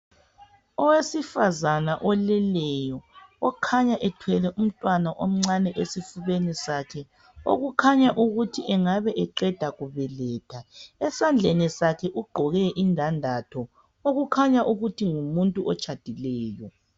Owesifazana oleleyo okhanya ethwele umntwana omncane esifubeni sakhe okukhanya ukuthi engabe eqeda kubeletha. Esandleni sakhe ugqoke indandatho okukhanya ukuba ngumuntu otshadileyo.